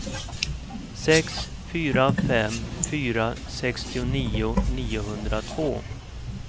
sex fyra fem fyra sextionio niohundratvå